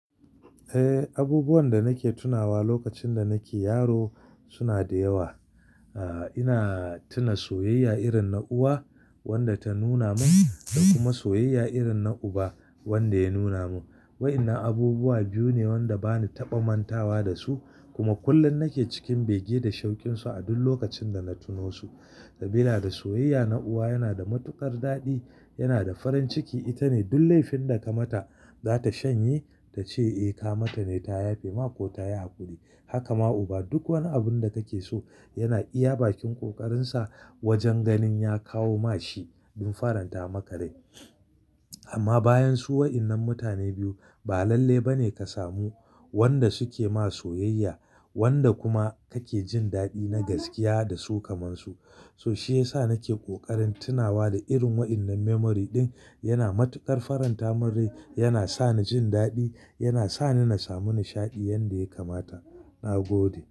Eh, abubuwan da nake tunawa lokacin da nake yaro suna da yawa. Ah, ina tuna soyayya irin na uwa wanda ta nuna mun da kuma soyayya irin na uba wanda ya nuna mun. Wa'ƴannan abubuwa biyu ne wanda bani taɓa mantawa da su kuma kullum nake cikin bege da shaukin su a duk lokacin da na tuno su. Sabida da soyayya na uwa yana da matuƙar daɗi, yana da farin ciki. Ita ne duk laifin da ka mata za ta shanye ta ce eh, ka mata ne ta yafe ma ko ta yi haƙuri. Haka ma uba, duk wani abun da kake so yana iya bakin ƙoƙarin sa wajen ganin ya kawo ma shi dun faranta maka rai. Amma bayan su wa'innan mutane biyu ba lalle ba ne ka samu wanda su ke ma soyayya wanda kuma kake jin daɗi na gaskiya da su kamar su. So shi ya sa nake ƙoƙarin tunawa da irin wa'innan memory din. Yana matuƙar faranta mun rai, yana sa ni jin daɗi, yana sa ni na samu nishaɗi yanda ya kamata. Na gode.